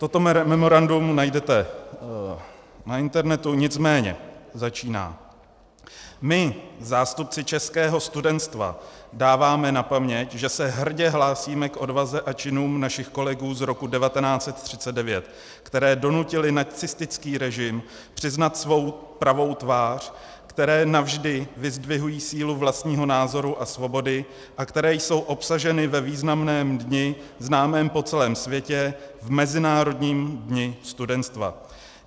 Toto memorandum najdete na internetu, nicméně začíná: My, zástupci českého studentstva, dáváme na paměť, že se hrdě hlásíme k odvaze a činům našich kolegů z roku 1939, které donutily nacistický režim přiznat svou pravou tvář, které navždy vyzdvihují sílu vlastního názoru a svobody a které jsou obsaženy ve významném dni známém po celém světě - v Mezinárodním dni studentstva.